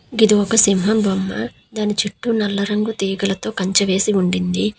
గిది ఒక సింహం బొమ్మ. దాని చుట్టూ నల్ల రంగు తీగలతో కంచె వేసి ఉండింది.